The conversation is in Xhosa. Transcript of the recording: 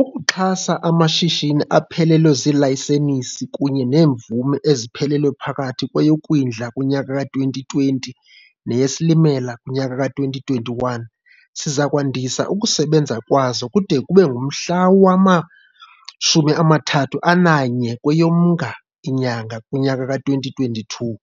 Ukuxhasa amashishini aphelelwe zilayisenisi kunye neemvume eziphelelwe phakathi kweyoKwindla kunyaka ka2020 neyeSilimela kunyaka ka2021, sizakwandisa ukusebenza kwawo kude kube ngumhla we-31 kweyoMnga 2022